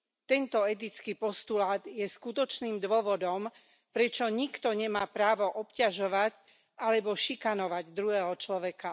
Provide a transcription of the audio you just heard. Tento etický postulát je skutočným dôvodom, prečo nikto nemá právo obťažovať alebo šikanovať druhého človeka.